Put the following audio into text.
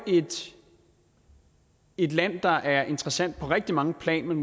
et land der er interessant på rigtig mange planer men